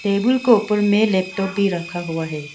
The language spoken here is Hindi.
टेबुल को उपर में लैपटॉप भी रखा हुआ है।